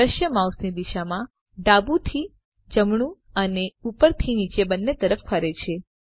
દ્રશ્ય માઉસની દિશામાં ડાબું થી જમણું અને ઉપર થી નીચે બંને તરફ ફરે છે